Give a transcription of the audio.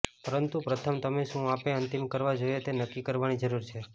પરંતુ પ્રથમ તમે શું આપે અંતિમ કરવા જોઈએ તે નક્કી કરવાની જરૂર છે